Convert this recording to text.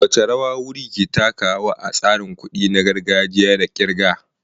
Wace rawa wurri ke takawa a tsarin kuɗi na gargajiya da kirga?